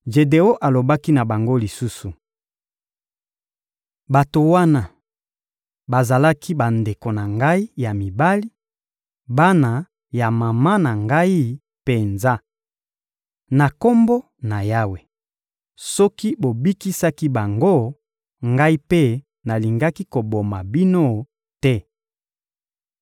Jedeon alobaki na bango lisusu: — Bato wana bazalaki bandeko na ngai ya mibali, bana ya mama na ngai penza. Na Kombo na Yawe, soki bobikisaki bango, ngai mpe nalingaki koboma bino te.